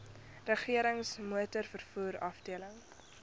regerings motorvervoer afdeling